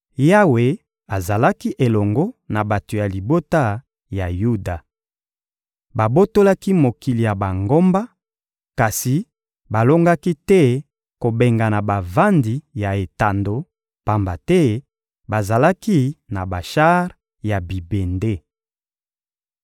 Yawe azalaki elongo na bato ya libota ya Yuda. Babotolaki mokili ya bangomba, kasi balongaki te kobengana bavandi ya etando, pamba te bazalaki na bashar ya bibende.